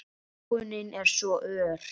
Þróunin er svo ör.